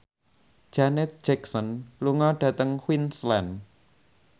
Janet Jackson lunga dhateng Queensland